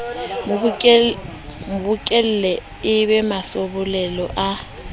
mabokelle e e mmasebolelo ha